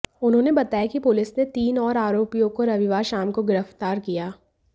उन्होंने बताया कि पुलिस ने तीन और आरोपियों को रविवार शाम को गिरफ्तार किया